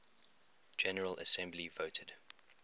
general assembly voted